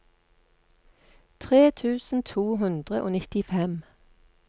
tre tusen to hundre og nittifem